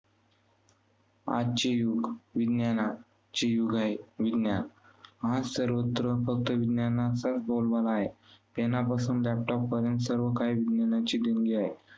आजचे युग विज्ञानचे युग आहे. विज्ञान. आज सर्वत्र फक्त विज्ञानाचा बोलबाला आहे. pen पासून laptop पर्यंत सर्व काही विज्ञानाची देणगी आहे.